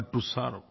but to serve